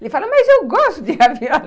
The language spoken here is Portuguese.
Ele fala, mas eu gosto de ravioli.